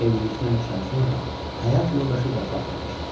Evlilikdən üç ay sonra həyat yoldaşı vəfat etmişdi.